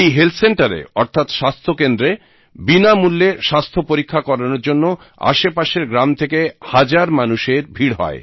এই হেলথ সেন্টারে অর্থাৎ স্বাস্থ্য কেন্দ্রে বিনামূল্যে স্বাস্থ্য পরীক্ষা করানোর জন্য আশেপাশের গ্রাম থেকে হাজার মানুষের ভীড় হয়